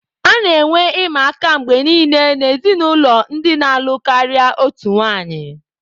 A na-enwe ịma aka mgbe niile n'ezinụlọ ndị na-alụ karịa otu nwanyị.